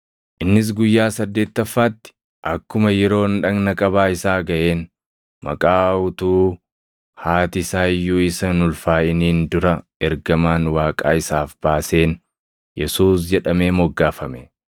Innis guyyaa saddeettaffaatti, akkuma yeroon dhagna qabaa isaa gaʼeen maqaa utuu haati isaa iyyuu isa hin ulfaaʼiniin dura ergamaan Waaqaa isaaf baaseen Yesuus jedhamee moggaafame.